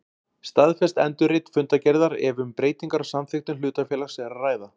staðfest endurrit fundargerðar ef um breytingar á samþykktum hlutafélags er að ræða.